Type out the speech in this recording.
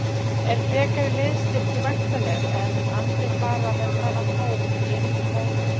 Er frekari liðsstyrkur væntanlegur eða mun Andri fara með þennan hóp inn í mótið?